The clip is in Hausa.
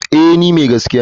Eh ni mai gaskiya ne.